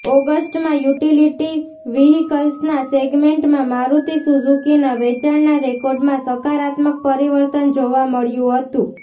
ઓગસ્ટમાં યુટિલિટી વ્હિકલ્સના સેગમેન્ટમાં મારુતિ સુઝુકીના વેચાણના રેકોર્ડમાં સકારાત્મક પરિવર્તન જોવા મળ્યું હતું